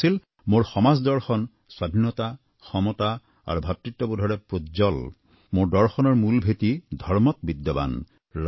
তেওঁ কৈছিল মোৰ সমাজ দৰ্শন স্বাধীনতা সমতা আৰু ভাতৃত্ববোধৰে প্ৰোজ্বল মোৰ দৰ্শনৰ মূল ভেঁটিত বিদ্যমান